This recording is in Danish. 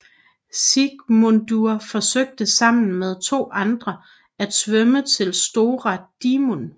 Sigmundur forsøgte sammen med to andre at svømme til Stóra Dímun